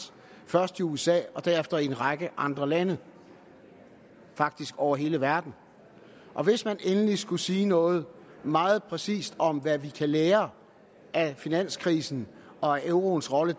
først i usa og derefter i en række andre lande faktisk over hele verden hvis man endelig skulle sige noget meget præcist om hvad vi kan lære af finanskrisen og euroens rolle i